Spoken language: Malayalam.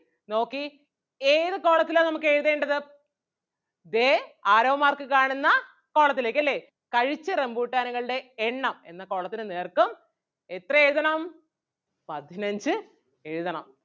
നോക്കി ഏത് column ത്തിലാ നമുക്ക് എഴുതേണ്ടത് ദേ arrow mark കാണുന്ന column ത്തിലേക്ക് അല്ലേ കഴിച്ച റംബുട്ടാനുകളുടെ എണ്ണം എന്ന column ന് നേർക്ക് എത്ര എഴുതണം പതിനഞ്ച് എഴുതണം.